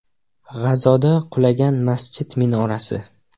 G‘azoda qulagan masjid minorasi.